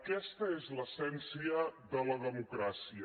aquesta és l’essència de la democràcia